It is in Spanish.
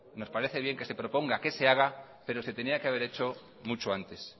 nos parece bien que se proponga que se haga pero se tenía que haber hecho mucho antes